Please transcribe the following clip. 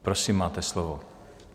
Prosím, máte slovo.